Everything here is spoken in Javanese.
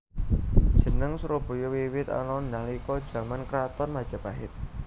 Jeneng Surabaya wiwit ana nalika jaman kraton Majapahit